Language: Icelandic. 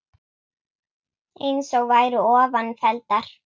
eins og væru ofan felldar